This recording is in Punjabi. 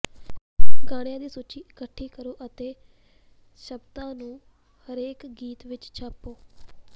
ਗਾਣਿਆਂ ਦੀ ਸੂਚੀ ਇਕੱਠੀ ਕਰੋ ਅਤੇ ਸ਼ਬਦਾਂ ਨੂੰ ਹਰੇਕ ਗੀਤ ਵਿਚ ਛਾਪੋ